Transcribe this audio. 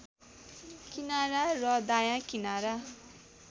किनारा र दायाँ किनारा